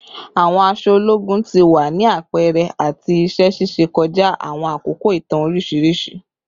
Awọn aṣọ ologun ti wa ni apẹrẹ ati iṣẹ ṣiṣe kọja awọn akoko itan oriṣiriṣi